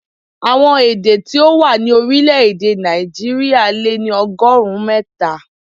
Àwọn èdè tí ó wà ní orílè-èdè Nàìjíríà lé ní ọgọ́rùn-ún mẹ́ta.